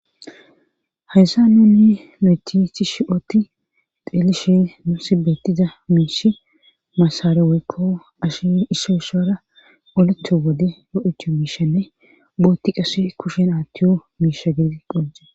hayssa nunni leechi chi shi ootti xeelishe nu si bettiza miishi masare woykko ashi issoo ishoora oletho wode odecho miishanne bootti qase kushen aattiyo miisha gedi qholje